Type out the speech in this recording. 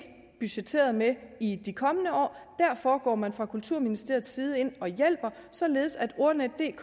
budgetteret med i de kommende år og derfor går man fra kulturministeriets side ind og hjælper således at ordnetdk